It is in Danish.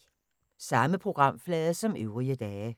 Samme programflade som øvrige dage